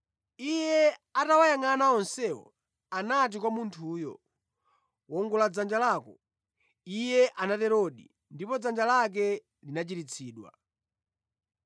Iye atawayangʼana onsewo, anati kwa munthuyo, “Wongola dzanja lako.” Iye anaterodi, ndipo dzanja lake linachiritsidwa.